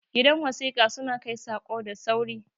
gidan wasika suna Kai Sako da sauri